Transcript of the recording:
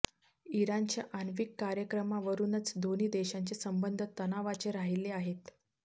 इराणच्या आण्विक कार्यक्रमावरूनच दोन्ही देशांचे संबंध तणावाचे राहिले आहेत